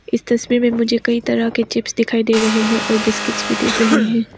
इस तस्वीर में मुझे कई तरह के चिप्स दिखायी दे रहे हैं और बिस्किट्स भी दिख रहे है।